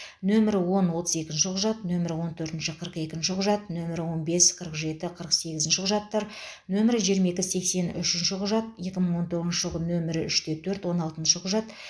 нөмірі он отыз екінші құжат нөмірі он төртінші қырық екінші құжат нөмірі он бес қырық жеті қырық сегізінші құжаттар нөмірі жиырма екі сексен үшінші құжат екі мың он тоғызыншы жылғы нөмірі үшті төрт он алтыншы құжат